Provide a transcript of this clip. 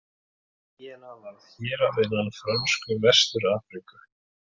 Gínea varð hérað innan Frönsku Vestur-Afríku.